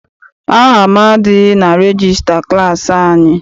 Aha m adịghị na regista klassi anyị.